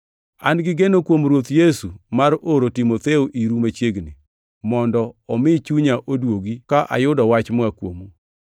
An gi geno kuom Ruoth Yesu mar oro Timotheo iru machiegni, mondo omi chunya oduogi ka ayudo wach moa kuomu.